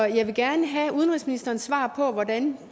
jeg vil gerne have udenrigsministerens svar på hvordan